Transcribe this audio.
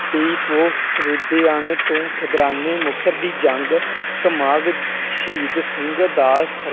ਤੇਈ ਪੋਹ ਤੋਂ ਖਿਦਰਾਨੇ ਮੁਕਤਸਰ ਦੀ ਜੰਗ ਸ਼ਹੀਦ ਸਿੰਘ ਦਾ